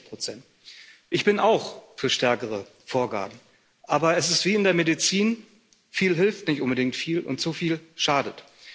60 Ich bin auch für stärkere Vorgaben, aber es ist wie in der Medizin Viel hilft nicht unbedingt viel, und zu viel schadet.